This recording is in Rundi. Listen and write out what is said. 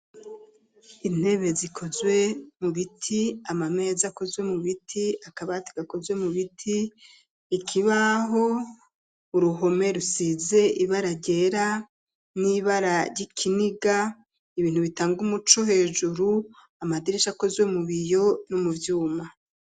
Intebe zikozwe mu biti ,ama meza akozwe mu biti ,akabati gakozwe mu biti, ikibaho ,uruhome rusize ibara ryera ,n'ibara ry'ikiniga, ibintu bitanga umuco hejuru ,amadirisha akozwe mu biyo no mu vyuma.